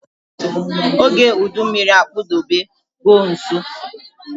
ógè udu mmịrị akpudobe go nso